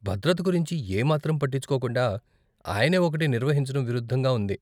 భద్రత గురించి ఏ మాత్రం పట్టించుకోకుండా ఆయనే ఒకటి నిర్వహించటం విరుద్ధంగా ఉంది.